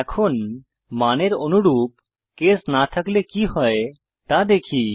এখন মানের অনুরূপ কেস না থাকলে কি হয় তা দেখি